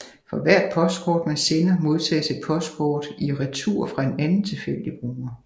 For hvert postkort man sender modtages et postkort i retur fra en anden tilfældig bruger